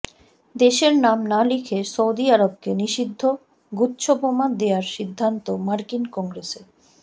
দেশের নাম না লিখে সৌদি আরবকে নিষিদ্ধ গুচ্ছবোমা দেয়ার সিদ্ধান্ত মার্কিন কংগ্রেসের